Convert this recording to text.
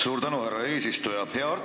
Suur tänu, härra eesistuja!